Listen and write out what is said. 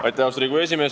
Austatud Riigikogu esimees!